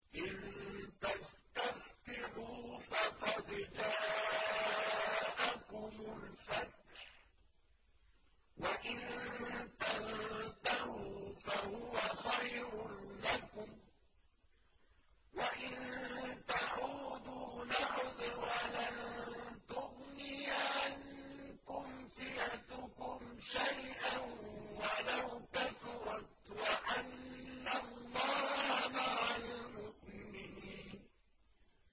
إِن تَسْتَفْتِحُوا فَقَدْ جَاءَكُمُ الْفَتْحُ ۖ وَإِن تَنتَهُوا فَهُوَ خَيْرٌ لَّكُمْ ۖ وَإِن تَعُودُوا نَعُدْ وَلَن تُغْنِيَ عَنكُمْ فِئَتُكُمْ شَيْئًا وَلَوْ كَثُرَتْ وَأَنَّ اللَّهَ مَعَ الْمُؤْمِنِينَ